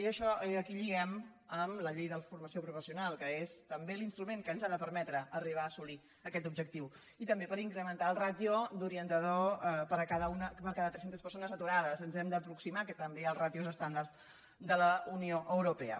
i això aquí ho lliguem amb la llei de formació professional que és també l’instrument que ens ha de permetre arribar a assolir aquest objectiu i també per incrementar la ràtio d’orientador per cada tres centes persones aturades ens hem d’aproximar també als ràtios estàndard de la unió europea